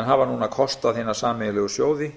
en hafa núna kostað hina sameiginlegu sjóði